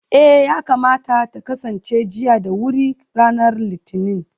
eh, yakamata ta kasance jiya da wuri ranar litinin